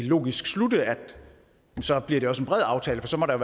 logisk slutte at så bliver det også en bred aftale for så må der